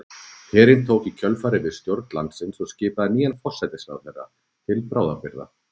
Herinn tók í kjölfarið við stjórn landsins og skipaði nýjan forsætisráðherra til bráðabirgða.